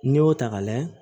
N'i y'o ta ka lajɛ